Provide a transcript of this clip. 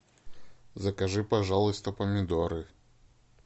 закажи пожалуйста помидоры